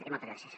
i moltes gràcies